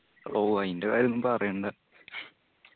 ഓ അയിന്റ കാര്യോന്നും പറയണ്ട